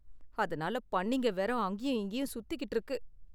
அதனால பன்னிங்க வேற அங்கேயும் இங்கேயும் சுத்திட்டு இருக்கு.